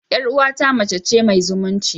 Yar uwata mace ce mai zumunci.